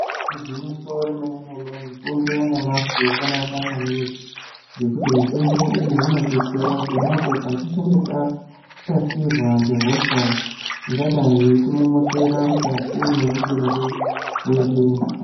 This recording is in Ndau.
Igwinyiso remene mene mitombo yanyamashi yakanaka maningi ngekuti mitombo iyi inodetsera pona apo patinenge tashatirwa nehosha ingadai yeitimometera mukati memutumbi wedu.